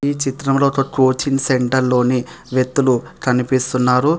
ఈ చిత్రంలో ఒక కోచింగ్ సెంటర్ లోని వ్యక్తులు కనిపిస్తున్నారు.